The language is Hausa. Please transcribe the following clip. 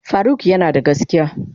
Faruk yanada gaskiya?